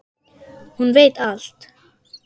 Hún veit allt.